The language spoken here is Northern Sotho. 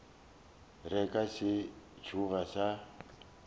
re ka se tsoge ra